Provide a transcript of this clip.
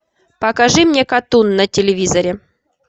покажи мне катун на телевизоре